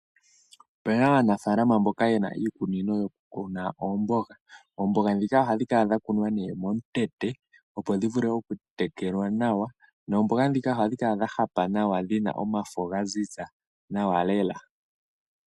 Opu na aanafaalama mboka ye na iikunino yoku kuna oomboga . Oomboga ndhika ohadhi kala dha kunwa momutete opo dhi vule oku tekelwa nawa. Oomboga ndhika ohadhi kala dha hapa nawa nomafo gwaziza nawa lela.